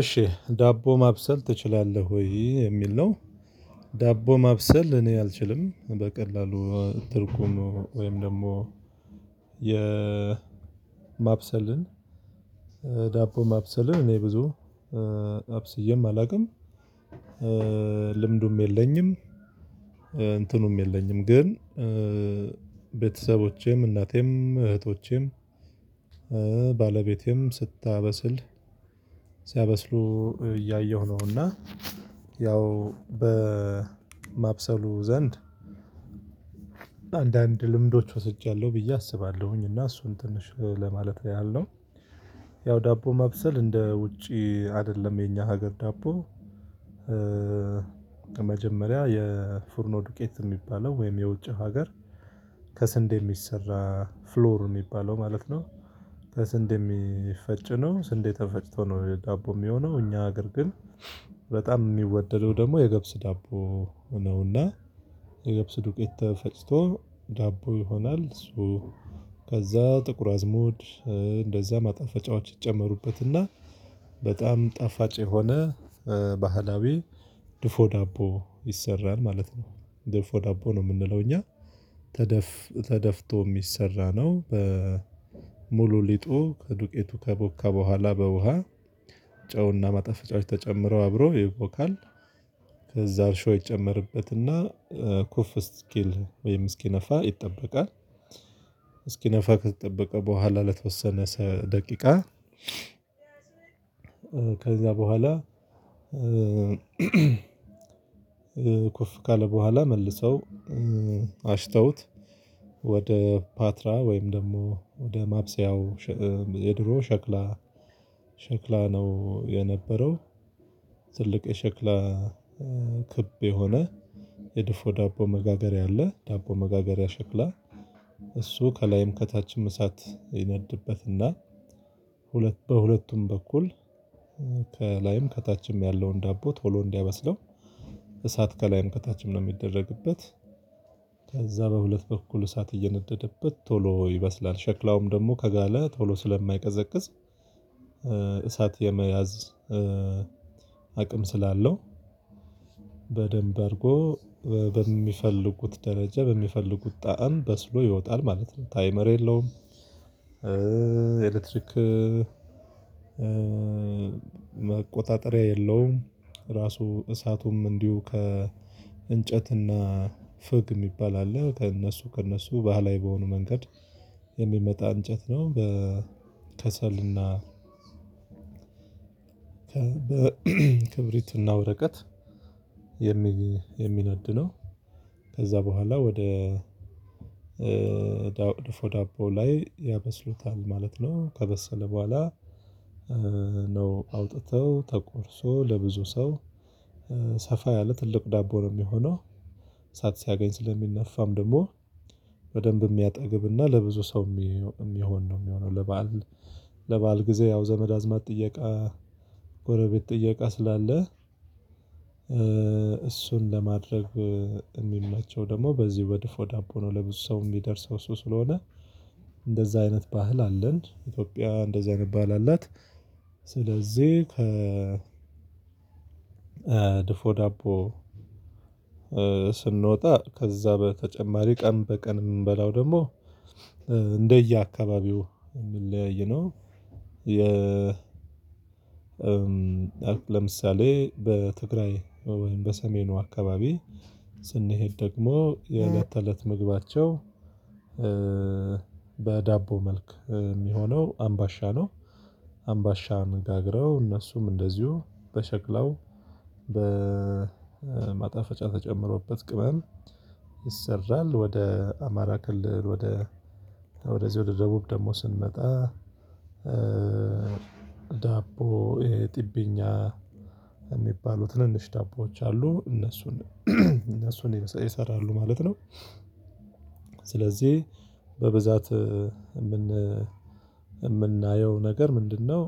እሺ ዳቦ ማብሰል ትችላለህ ወይ የሚል ነው? ዳቦ ማብሰል እኔ አልችልም በቀላሉ ትርጉሙ ወይም ደግሞ የማብሰልን ዳቦ ማብሰልን እኔ ብዙ አብስዬም አላውቅም። ልምዱም የለኝም። እንትኑም የለኝም ግን ቤተሰቦቼም እናቴም እህቶቼም ባለቤቴም ስታበስል ሲያበስሉ እያየሁ ነው። እና ያው በማብሰሉ ዘንድ አንዳንድ ልምዶች ወስጃለሁ ብዬ አስባለሁኝ እና እሱን ትንሽ ለማለት ያህል ነው። ያው ዳቦ ማብሰል እንደ ውጪ አይደለም የኛ ሀገር ዳቦ መጀመሪያ የፍርኖ ዱቄት እሚባለው ወይም የውጪ ሀገር ከስንዴ የሚሰራ ፍሎር እሚባለው ማለት ነው። ተስንዴ ሚፈጭ ነው ስንዴ ተፈጭቶ ነው ዳቦ ሚሆነው እኛ ሀገር ግን በጣም ሚወደደው ደግሞ የገብስ ዳቦ ነው። እና የገብስ ዱቄት ተፈጭቶ ዳቦ ይሆናል ሶ ከዛ ጥቁር አዝሙድ እንደዛ ማጣፈጫዎች ይጨመሩበት እና በጣም ጣፋጭ የሆነ ባህላዊ ድፎ ዳቦ ይሰራል ማለት ነው። ድፎ ዳቦ ነው ምንለው እኛ ተደፍ ተደፍቶ ሚሰራ ነው በሙሉ ሊጡ ከዱቄቱ ከቦካ በኋላ በውሃ ጨው እና ማጣፈጫዎች ተጨምረው አብሮ ይቦካል። ከዛ አርሾ ይጨመርበት እና ኩፍ እስኪል ወይም እስኪነፋ ይጠበቃል። እስኪነፋ ከተጠበቀ በኋላ ለተወሰነ ሰ ደቂቃ ከዛ በኋላ ኩፍ ካለ በኋላ መልሰው አሽተውት ወደ ፓትራ ወይም ደግሞ ወደ ማብሰያው ሸ የድሮ ሸክላ ሸክላ ነው። የነበረው ትልቅ የሸክላ ክብ የሆነ የድፎ ዳቦ መጋገሪያ አለ። ዳቦ መጋገሪያ ሸክላ እሱ ከላይም ከታችም እሳት ይነድበት እና ሁለት በሁለቱም በኩል ከላይም ከታችም ያለውን ዳቦ ቶሎ እንዲያበስለው እሳት ከላይም ከታችም ነው ሚደረግበት። ከዛ በሁለት በኩል እሳት እየነደደበት ቶሎ ይበስላል ሸክላውም ደግሞ ከጋለ ቶሎ ስለማይቀዘቅዝ እሳት የመያዝ አቅም ስላለው በደንብ አርጎ በሚፈልጉት ደረጃ በሚፈልጉት ጣዕም በስሎ ይወጣል ማለት ነው። ታይመር የለውም ኤሌትሪክ መቆጣጠሪያ የለውም። ራሱ እሳቱም እንዲሁ ከእንጨት እና ፍግ እሚባል አለ ከእነሱ ከእነሱ ባህላዊ በሆኑ መንገድ የሚመጣ እንጨት ነው። በከሰል እና በ በክብሪት እና ወረቀት የሚ የሚነድ ነው። ከዛ በኋላ ወደ ዳው ድፎ ዳቦ ላይ ያበስሉታል ማለት ነው። ከበሰለ በኋላ ነው አውጥተው ተቆርሶ ለብዙ ሰው ሰፋ ያለ ትልቅ ዳቦ ነው ሚሆነው። እሳት ሲያገኝ ስለሚነፋም ደግሞ በደንብ እሚያጠግብ እና ለብዙ ሰው ሚ እሚሆን ነው ሚሆነው። ለበአል ለበአል ጊዜ ያው ዘመድ አዝማድ ጥየቃ ጎረቤት ጥየቃ ስላለ እሱን ለማድረግ እሚመቸው ደግሞ በዚህ በድፎ ዳቦ ነው። ለብዙ ሰው እሚደርሰው እሱ ስለሆነ እንደዛ አይነት ባህል አለን ኢትዮጵያ እንደዚህ አይነት ባህል አላት። ስለዚህ ከ ድፎ ዳቦ ስንወጣ ከዛ በተጨማሪ ቀን በቀን እምንበላው ደግሞ እንደየአካባቢው የሚለያይ ነው። የ ለምሳሌ በትግራይ ወይም በሰሜኑ አካባቢ ስንሄድ ደግሞ የእለት ተእለት ምግባቸው በዳቦ መልክ ሚሆነው አምባሻ ነው። አምባሻን ጋግረው እነሱም እንደዚሁ በሸክላው በማጣፈጫ ተጨምሮበት ቅመም ይሰራል። ወደ አማራ ክልል ወደ ወደዚህ ወደ ደቡብ ደግሞ ስንመጣ ዳቦ ይሄ ጢብኛ እሚባሉ ትንንሽ ዳቦዎች አሉ እነሱን እነሱን ይስ ይሰራሉ ማለት ነው። ስለዚህ በብዛት እምን እምናየው ነገር ምንድነው?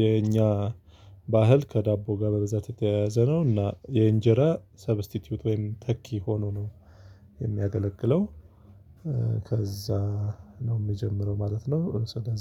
የኛ ባህል ከዳቦ ጋር በብዛት የተያያዘ ነው እና የእንጀራ ሰብስቲትዩት ወይም ተኪ ሆኖ ነው የሚያገለግለው። ከዛ ነው ሚጀምረው ማለት ነው ስለዚ